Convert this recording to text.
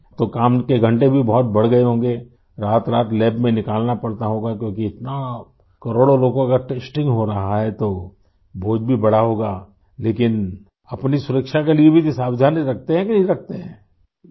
تو کام کے گھنٹے بھی بہت بڑھ گئے ہوں گے ؟ رات رات لیب میں گذارنا پڑتا ہوگا ؟ کیونکہ کروڑوں لوگوں کی ٹیسٹنگ ہو رہی ہے تو بوجھ بھی بڑھا ہوگا ؟ لیکن اپنی حفاظت کے لیے بھی یہ احتیاط رکھتے ہیں کہ نہیں رکھتے ہیں ؟